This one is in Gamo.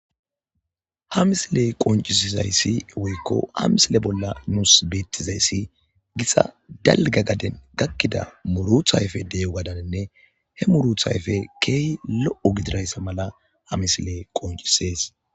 Ha misiley qoncisizayssi woykko ha misile bolla nuus beettizayssi gixa dalga gaden gakkida muruthayfe deyo gadaninne he muruthayfe keey lo'o gidirayssa mala ha misile qoncisees.